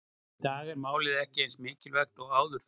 Í dag er málið ekki eins mikilvægt og áður fyrr.